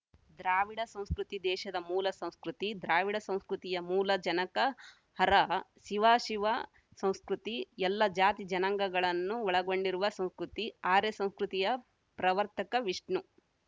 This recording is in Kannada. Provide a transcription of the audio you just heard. ದ್ರಾವಿಡ ಸಂಸ್ಕೃತಿ ದೇಶದ ಮೂಲ ಸಂಸ್ಕೃತಿ ದ್ರಾವಿಡ ಸಂಸ್ಕೃತಿಯ ಮೂಲ ಜನಕ ಹರ ಶಿವ ಶಿವ ಸಂಸ್ಕೃತಿ ಎಲ್ಲ ಜಾತಿ ಜನಾಂಗಗಳನ್ನು ಒಳಗೊಂಡಿರುವ ಸಂಸ್ಕೃತಿ ಆರ್ಯ ಸಂಸ್ಕೃತಿಯ ಪ್ರವರ್ತಕ ವಿಷ್ಣು